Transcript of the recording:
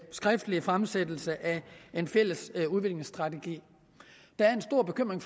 skriftlige fremsættelse af en fælles udviklingsstrategi der er en stor bekymring